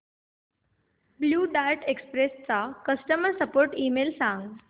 blue Dart Express चा customer support email सांग